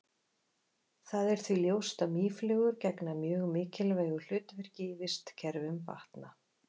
Það er því ljóst að mýflugur gegna mjög mikilvægu hlutverki í vistkerfum vatna.